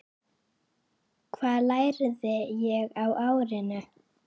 Hvað lærði ég á árinu?